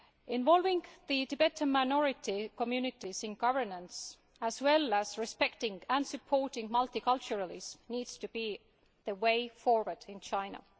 Involving the Tibetan minority communities in governance as well as respecting and supporting multiculturalism needs to be the way forward in China.